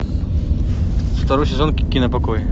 второй сезон кипопокой